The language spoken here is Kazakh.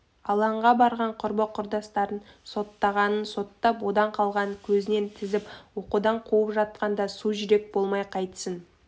алаңға барған құрбы-құрдастарын соттағанын соттап одан қалғанын көзінен тізіп оқудан қуып жатқанда су жүрек болмай қайтсін